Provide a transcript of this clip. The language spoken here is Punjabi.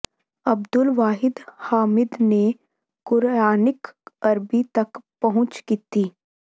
ਅਬਦੁਲ ਵਾਹਿਦ ਹਾਮਿਦ ਨੇ ਕੁਰਆਨਿਕ ਅਰਬੀ ਤਕ ਪਹੁੰਚ ਕੀਤੀ